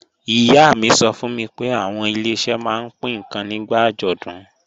Ìyá mi sọ fún mi pé àwọn Ileṣẹ́ máa ń pín ǹkan nígbà àjọ̀dún